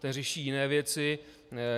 Ten řeší jiné věci.